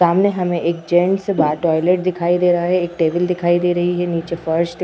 सामने हमें एक जेंट्स बा टॉयलेट दिखाई दे रहा है। एक टेबल दिखाई दे रही है। नीचे फर्श दि --